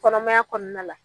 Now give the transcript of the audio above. Kɔnɔmaya kɔnɔna la